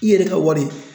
I yɛrɛ ka wari